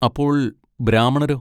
അപ്പോൾ ബ്രാമണരോ?